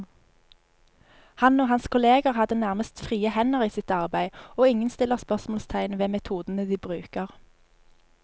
Han og hans kolleger har nærmest frie hender i sitt arbeid, og ingen stiller spørsmålstegn ved metodene de bruker.